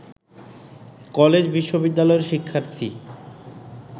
কলেজ-বিশ্ববিদ্যালয়ের শিক্ষার্থী